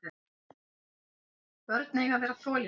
Börn eiga að vera þolinmóð.